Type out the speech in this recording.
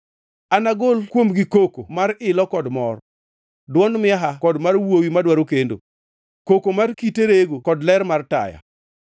Anagol kuomgi koko mar ilo kod mor, dwond miaha kod mar wuowi madwaro kendo, koko mar kite rego kod ler mar taya.